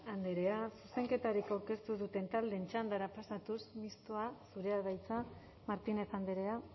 andrea zuzenketarik aurkeztu ez duten taldeen txandara pasatuz mistoa zurea da hitza martínez andrea